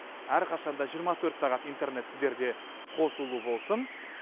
әрқашанда жиырма төрт сағат интернет сіздерде қосулы болсын